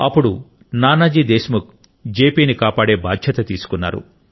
అప్పుడు Nanaji Deshmukh JP ని కాపాడే బాధ్యత తీసుకున్నాడు